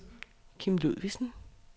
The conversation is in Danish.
Kim Ludvigsen